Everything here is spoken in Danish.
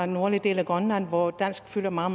nordlige del af grønland hvor dansk fylder meget